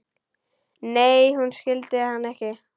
Nei, hún skildi hann ekki.